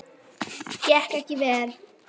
Gekk ekki vel.